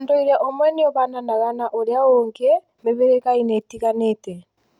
Ūndũire ũmwe nĩũhananaga na ũrĩa ũngĩ mĩhĩrĩga-inĩ ĩtiganĩte